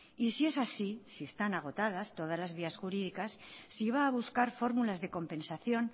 y si es así si están agotadas todas las vías jurídicas si va a buscar formulas de compensación